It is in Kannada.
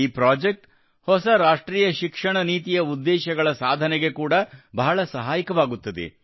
ಈ ಪ್ರಾಜೆಕ್ಟ್ ಹೊಸ ರಾಷ್ಟ್ರೀಯ ಶಿಕ್ಷಣ ನೀತಿಯ ಉದ್ದೇಶಗಳ ಸಾಧನೆಗೆ ಕೂಡಾ ಬಹಳ ಸಹಾಯಕವಾಗುತ್ತದೆ